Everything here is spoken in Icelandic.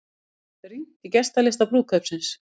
Rýnt í gestalista brúðkaupsins